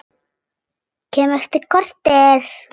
Kem eftir korter!